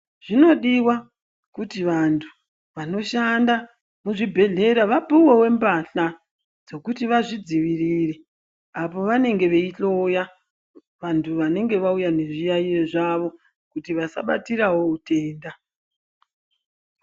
Zvinodiwa kuti vantu ,vanoshanda muzvibhedlera vapuwewo mpahla dzekuti vazvidzivirire apo vanenge veyihloya vantu vanenge vawuya nezviyayiyo zvavo kuti vasabatirawo hutenda.